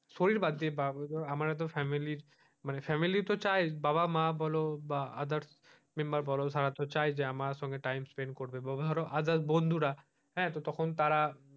শরীর বাদ দিয়ে বা ধরো আমার ও তো family মানে family তো চাই বাবা মা বোলো বা others member বোলো তারা তো চাই আমার সঙ্গে time spend করবে।